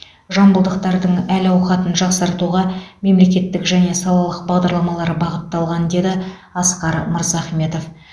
жамбылдықтардың әл ауқатын жақсартуға мемлекеттік және салалық бағдарламалар бағытталған деді асқар мырзахметов